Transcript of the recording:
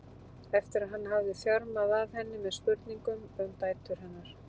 eftir að hann hafði þjarmað að henni með spurningum um dætur hennar.